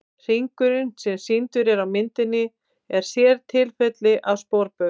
Hringurinn sem er sýndur á myndinni er sértilfelli af sporbaug.